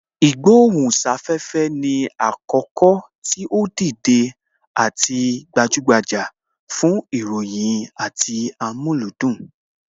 Ìgbohùn sáfẹ́fẹ́ ni àkókò tí ó dìde àti gbajúgbajà fún ìròyìn àti amúlùúdùn